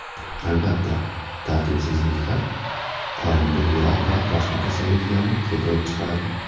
Albatta, tartibsizliklar qorinda yog‘ va boshqa kasalliklarni keltirib chiqaradi.